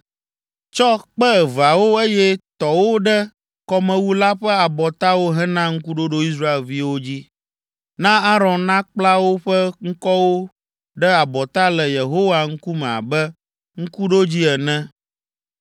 Tsɔ kpe eveawo eye tɔ wo ɖe kɔmewu la ƒe abɔtawo hena ŋkuɖoɖo Israelviwo dzi. Na Aron nakpla woƒe ŋkɔwo ɖe abɔta le Yehowa ŋkume abe ŋkuɖodzi ene.